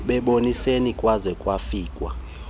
bebonisene kwaze kwafikwa